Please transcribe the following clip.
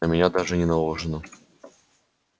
на меня даже не наложено